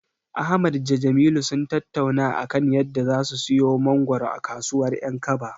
Ahmad da Jamilu sun tattauna a kan yadda zasu siyo mangoro a kasuwar 'yankaba.